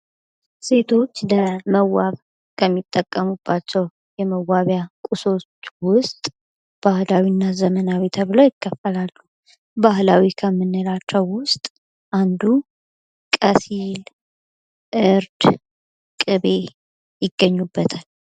ሴቶች ለመዋብ ከሚጠቀሙባቸው የመዋቢያ ቁሶች ውስጥ ባህላዊና ዘመናዊ ተብሎ ይከፈላሉ ፤ ባህላዊ ከምንላቸው ውስጥ አንዱ ቀሲል ፥ እርድ ፥ ቅቤ ይገኙበታል።